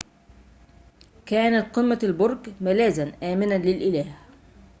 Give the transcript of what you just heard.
كانت قمة البرج ملاذاً آمناً للإله